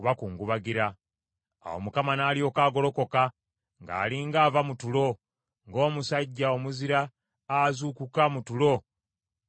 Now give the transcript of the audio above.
Awo Mukama n’alyoka agolokoka ng’ali nga ava mu tulo, ng’omusajja omuzira azuukuka mu tulo ng’atamidde.